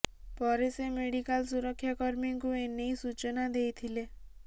ପରେ ସେ ମେଡିକାଲ ସୁରକ୍ଷାକର୍ମୀଙ୍କୁ ଏ ନେଇ ସୂଚନା ଦେଇଥିଲେ